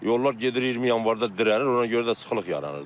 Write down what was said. Yollar gedir, 20 Yanvarda dirənir.